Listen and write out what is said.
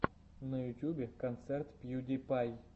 на ютюбе концерт пью ди пай